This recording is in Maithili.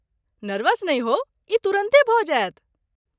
नर्वस नहि होउ, ई तुरन्ते भऽ जायत